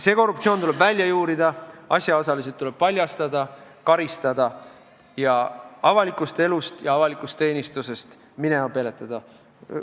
See korruptsioon tuleb välja juurida, asjaosalised tuleb paljastada, neid tuleb karistada ja nad avalikust elust ja avalikust teenistusest minema peletada.